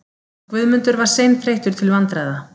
Guðmundur var seinþreyttur til vandræða